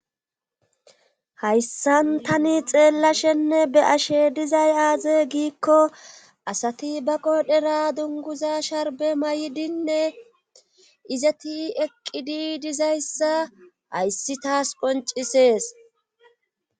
hayssan tani xeellashenne be ashe dizay aaze giikko asati ba qodhera dunguza sharbe may7idinne izati eqqidi dizayssa hayssi taas qoncisees